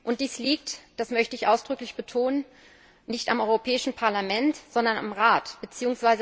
Und dies liegt das möchte ich ausdrücklich betonen nicht am Europäischen Parlament, sondern am Rat bzw.